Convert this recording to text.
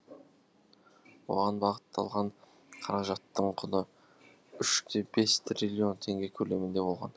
оған бағытталған қаражаттың құны үш те бес триллион теңге көлемінде болған